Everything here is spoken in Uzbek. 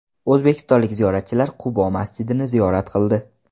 O‘zbekistonlik ziyoratchilar Qubo masjidini ziyorat qildi .